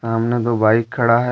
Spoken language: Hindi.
सामने दो बाइक खड़ा है।